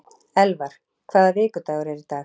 Elvar, hvaða vikudagur er í dag?